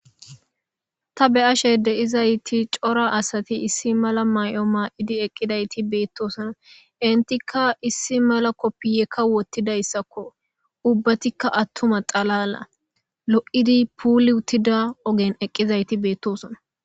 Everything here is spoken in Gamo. Ta be ashe de7izayti cora asati issi mala may7o maa7idi eqqidayti beettosona intikka issi mala koppiyekka wottidayssakko ubbatikka attuma xalala lo7idi puuli uttida ogen eqqizayti beettosona.